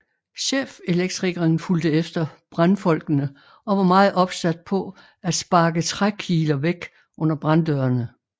Chefelektrikeren fulgte efter brandfolkene og var meget opsat på at sparke trækiler væk under branddørene